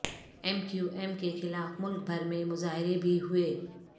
M Q M کے خلاف ملک بھر میں مظاہرے بھی ہوئے